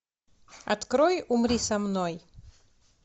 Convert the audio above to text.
открой умри со мной